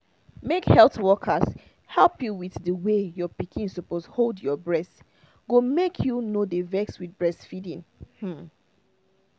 make health workers help you with the way your pikin suppose hold your breast go make you no dey vex with breastfeeding um